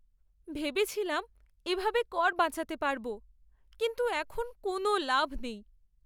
ভেবেছিলাম এভাবে কর বাঁচাতে পারবো, কিন্তু এখন কোনও লাভ নেই।